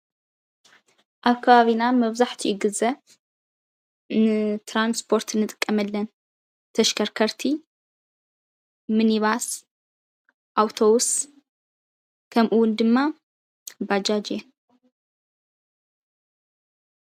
ኣብ ከባቢና መብዛሕትኡ ግዘ ንትራንስፖርት እንጥቀመለን ተሽከርከርቲ ሚኒባስ፣ ኣውቶብስ ከምኡውን ድማ ባጃጅ እየን።